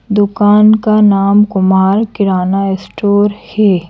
दुकान का नाम कुमार किराना स्टोर है।